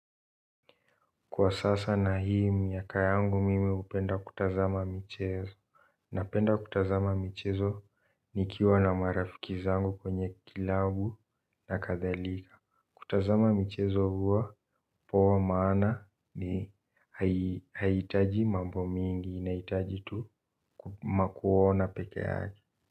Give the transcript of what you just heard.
Kwa sasa na hii miaka yangu mimi hupenda kutazama michezo napenda kutazama michezo nikiwa na marafiki zangu kwenye club nakadhalika kutazama michezo huwa poa maana hai haihitaji mambo mingi inahitaji tu makuona peke haki.